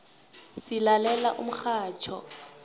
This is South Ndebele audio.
silalela umxhatjho